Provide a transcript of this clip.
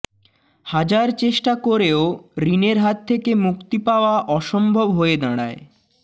হাজার চেষ্টা করেও ঋণের হাত থেকে মুক্তি পাওয়া অসম্ভব হয়ে দাঁড়ায়